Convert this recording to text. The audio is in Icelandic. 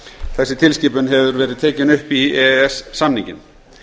þessi tilskipun hefur verið tekin upp í e e s samninginn